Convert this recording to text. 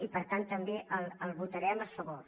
i per tant també el votarem a favor